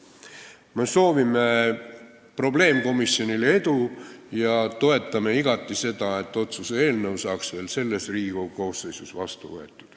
Me soovime probleemkomisjonile edu ja toetame igati seda, et otsuse eelnõu saaks veel selle Riigikogu koosseisu ajal vastu võetud.